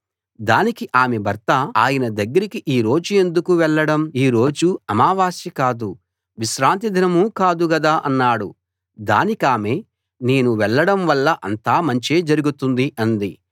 దానికి ఆమె భర్త ఆయన దగ్గరికి ఈ రోజు ఎందుకు వెళ్ళడం ఈ రోజు అమావాస్యా కాదు విశ్రాంతి దినమూ కాదు గదా అన్నాడు దానికామె నేను వెళ్ళడం వల్ల అంతా మంచే జరుగుతుంది అంది